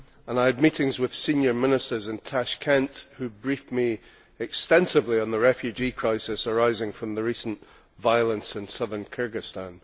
I had meetings with senior ministers in Tashkent who briefed me extensively on the refugee crisis arising from the recent violence in southern Kyrgyzstan.